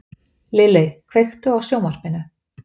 Lilley, kveiktu á sjónvarpinu.